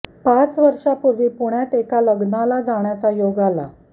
पाच वर्षापूर्वी पुण्यात एका लग्नाला जाण्याचा योग आला